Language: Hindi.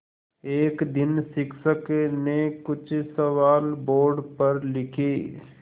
एक दिन शिक्षक ने कुछ सवाल बोर्ड पर लिखे